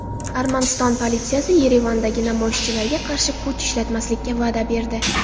Armaniston politsiyasi Yerevandagi namoyishchilarga qarshi kuch ishlatmaslikka va’da berdi.